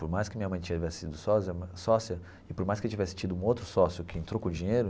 Por mais que minha mãe tivesse sido sósia sócia e por mais que tivesse tido outro sócio que entrou com o dinheiro,